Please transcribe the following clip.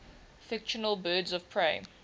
fictional birds of prey